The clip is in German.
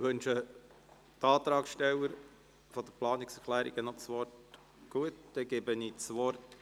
Wünschen die Antragsteller der Planungserklärungen das Wort?